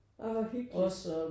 Åh hvor hyggeligt